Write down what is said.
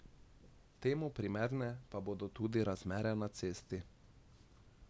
Temu primerne pa bodo tudi razmere na cesti.